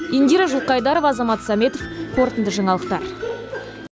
индира жылқайдарова азамат сәметов қорытынды жаңалықтар